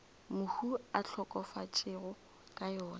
mohu a hlokafetšego ka yona